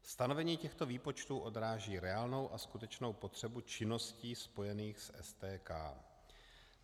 Stanovení těchto výpočtů odráží reálnou a skutečnou potřebu činností spojených s STK.